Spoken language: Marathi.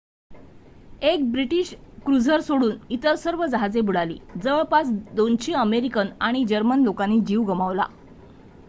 एक ब्रिटिश क्रुझर सोडून इतर सर्व जहाजे बुडाली. जवळपास २०० अमेरिकन आणि जर्मन लोकांनी जीव गमावला